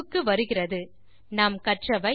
இந்த டியூட்டோரியல் இல் நாம் கற்றவை 1